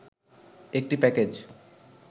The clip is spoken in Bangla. একটি প্যাকেজ